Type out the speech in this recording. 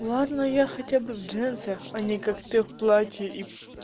ладно я хотя бы в джинсах а не как ты в платье и